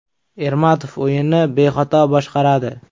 Ermatov o‘yinni bexato boshqaradi.